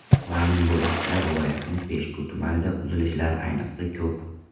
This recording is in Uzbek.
Ma’lum bo‘lishicha, viloyatning Peshku tumanida uzilishlar ayniqsa ko‘p.